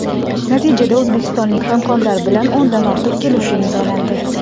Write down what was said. Natijada o‘zbekistonlik hamkorlar bilan o‘ndan ortiq kelishuv imzolandi.